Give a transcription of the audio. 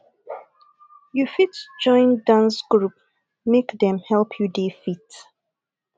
you fit join dance group make dem help you dey fit